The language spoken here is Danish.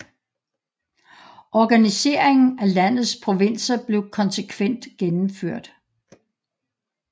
Organiseringen af landets provinser blev konsekvent gennemført